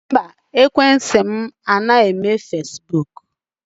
Mba, ekwentị m anaghị eme fesibuuku.